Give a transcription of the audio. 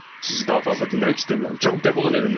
Sizi daha fazla dinləmək istəmirəm, çabuk def olun evimdən.